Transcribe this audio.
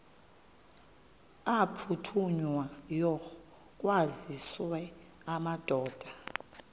aphuthunywayo kwaziswe amadoda